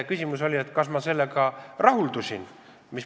Küsimus on, kas ma sellega rahuldusin.